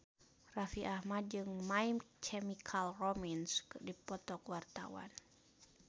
Raffi Ahmad jeung My Chemical Romance keur dipoto ku wartawan